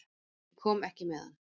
Ég kom ekki með hann.